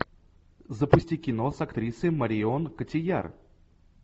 запусти кино с актрисой марион котийяр